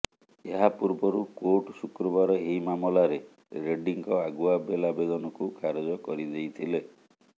ଏହା ପୂର୍ବରୁ କୋର୍ଟ ଶୁକ୍ରବାର ଏହି ମାମଲାରେ ରେଡ୍ଡୀଙ୍କ ଆଗୁଆ ବେଲ୍ ଆବେଦନକୁ ଖାରଜ କରିଦେଇଥିଲେ